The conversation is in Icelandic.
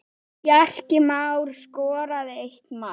Bjarki Már skoraði eitt mark.